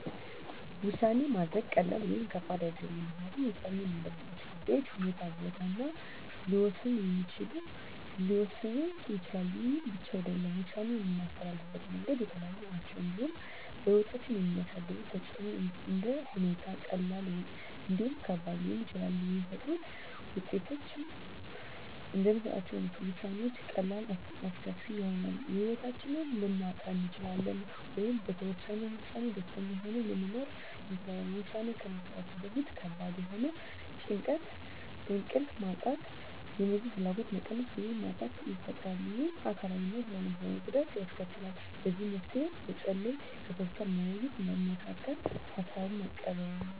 ውሳኔ ማድረግ ቀላል ወይም ከባድ አይደለም ምክንያቱም ውሳኔ የምናደርግባቸው ጉዳዮች ሁኔታ ቦታ እና ጊዜ ሊወሰኑት ይችላሉ ይህ ብቻ አይደለም ውሳኔ የምናስተላልፍበት መንገዶች የተለያዩ ናቸው እንዲሁም በህይወታችን የሚያሳድሩት ተፅእኖም እንደ ሁኔታዎች ቀላልም እንዲሁም ከባድ ሊሆኑ ይችላሉ የሚፈጥሩት ውጤቶችም እንደምንሰጣቸው ውሳኔዎች ቀላልም አስከፊም ይሆናል የህይወታችንን ልናጣ እንችላለን ወይም በወሰነው ውሳኔ ደስተኛ ሆነን ልንኖር እንችላለን ውሳኔ ከመስጠታችን በፊት ከባድ የሆነ ጭንቀት እንቅልፍ ማጣት የምግብ ፍላጎት መቀነስ ወይም ማጣት ይፈጥራል ይህም አካላዊ እና ስነ ልቦናዊ ጉዳት ያስከትላል ለዚህ መፍትሄ መፀለይ ከሰዎች ጋር መወያየትና መመካከር ሀሳብን መቀበል